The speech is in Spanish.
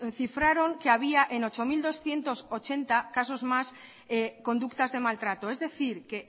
cifraron que había en ocho mil doscientos ochenta casos más conductas de maltrato es decir que